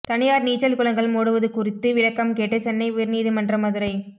தனியார் நீச்சல் குளங்கள் மூடுவது குறித்து விளக்கம் கேட்டு சென்னை உயர்நீதிமன்ற மதுரை